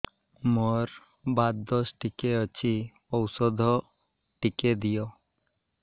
ମୋର୍ ବାତ ଦୋଷ ଟିକେ ଅଛି ଔଷଧ ଟିକେ ଦିଅ